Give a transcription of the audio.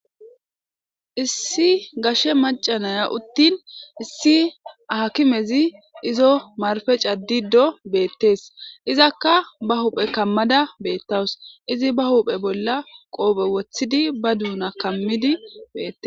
issi gashe macanaya uttin issi akimezi izo marfe caddido beettees izakka ba huphe kammada beettawus izi ba huphe bolla qoophe wothidi ba duuna kammidi bettes